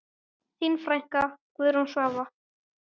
Þín frænka, Guðrún Svava.